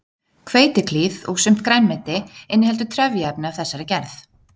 Hveitiklíð og sumt grænmeti inniheldur trefjaefni af þessari gerð.